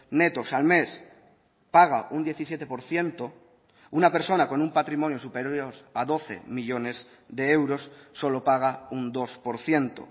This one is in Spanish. netos al mes paga un diecisiete por ciento una persona con un patrimonio superior a doce millónes de euros solo paga un dos por ciento